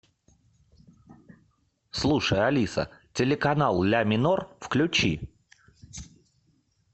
слушай алиса телеканал ля минор включи